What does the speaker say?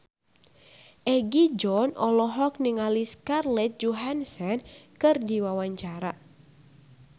Egi John olohok ningali Scarlett Johansson keur diwawancara